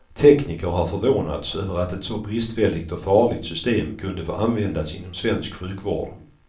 Tekniker har förvånats över att ett så bristfälligt och farligt system kunde få användas inom svensk sjukvård.